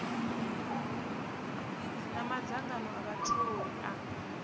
na madzangano a vhatholi a